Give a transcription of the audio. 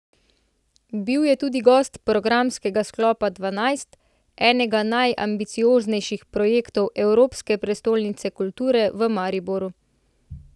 Bil je tudi gost programskega sklopa Dvanajst, enega najambicioznejših projektov Evropske prestolnice kulture v Mariboru.